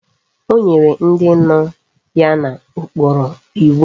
O nyere ndi no ya na okporo iwu